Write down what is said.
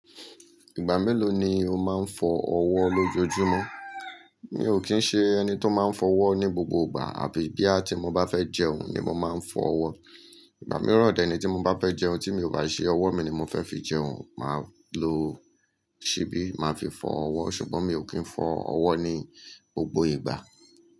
Ìgbà mélòó ni o máa ń fọ ọwọ́ lójoojúmọ́? Mi ò kí ń ṣe ẹni tó máa ń fọ ọwọ́ ní gbogbo ìgbà, àbí bí àti mo bá fẹ́ jẹun ni mo máa ń fọ ọwọ́. Ìgbà mìíràn deni tí mo bá fẹ́ jẹun tí mi ò bá ṣe ọwọ́ mi ni mo fẹ́ fi jẹun, màá lo ṣíbí, màá fi fọ ọwọ́. Ṣùgbọ́n mi ò kí ń fọ ọwọ́ ní gbogbo ìgbà.